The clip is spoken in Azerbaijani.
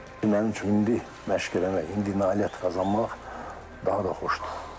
Mənim üçün indi məşq eləmək, indi nailiyyət qazanmaq daha da xoşdur.